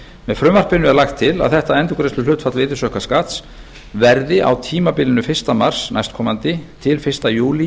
með frumvarpinu er lagt til að þetta endurgreiðsluhlutfall virðisaukaskatts verði á tímabilinu fyrsta mars næstkomandi til fyrsta júlí